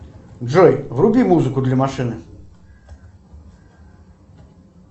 джой вруби музыку для машины